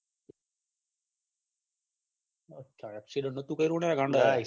accident તો ન તુ થયું ને ગાંડા